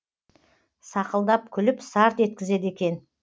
сақылдап күліп сарт еткізеді екен